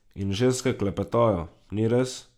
In ženske klepetajo, ni res?